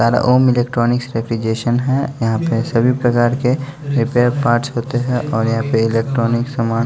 सारा Om electronics refrigeration है यहाँ पे सभी प्रकार के रिपेयर पार्ट्स होते हैं और यहाँ पे इलेक्ट्रॉनिक समान--